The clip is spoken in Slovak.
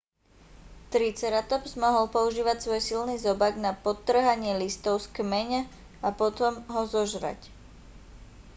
triceratops mohol používať svoj silný zobák na poodtŕhanie listov z kmeň a potom ho zožrať